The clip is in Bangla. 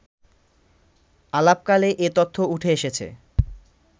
আলাপকালে এ তথ্য ওঠে এসেছে